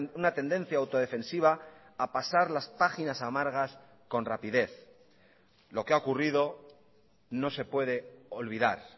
una tendencia autodefensiva a pasar las páginas amargas con rapidez lo que ha ocurrido no se puede olvidar